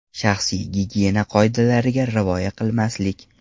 Shaxsiy gigiyena qoidalariga rioya qilmaslik .